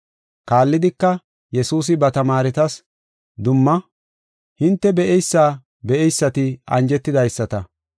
Kaallidika, Yesuusi ba tamaaretas dumma, “Hinte be7eysa be7eysati anjetidaysata.